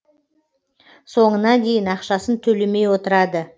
соңына дейін ақшасын төлемей отырады